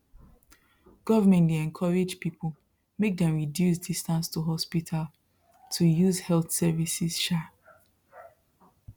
government dey encourage people make dem reduce distance to hospital to use health services um